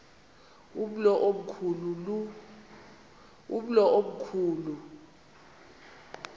umlo omkhu lu